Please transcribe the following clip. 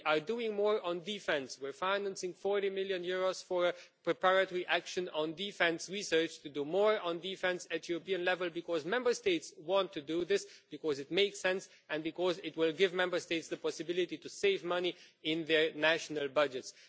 We are doing more on defence. We are financing EUR 40 million for a preparatory action on defence research to do more on defence at European level because Member States want to do this, because it makes sense and because it will enable Member States to save money in their national budgets.